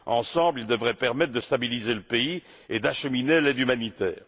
Ensemble, ils devraient permettre de stabiliser le pays et d'acheminer l'aide humanitaire.